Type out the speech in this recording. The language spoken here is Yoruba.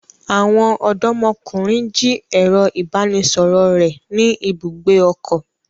Àwọn ọdọmọkunrin ji ẹrọ ibanisọrọ rẹ ni ibùgbé ọkọ.